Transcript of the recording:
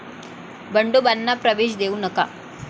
बंडोबांना प्रवेश देऊ नका'